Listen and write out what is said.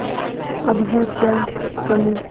अब है क्या कमीं